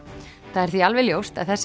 það er því alveg ljóst að þessi